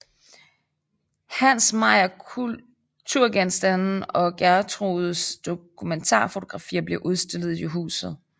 Hans mayakulturgenstande og Gertrudes dokumentarfotografier blev udstillet i huset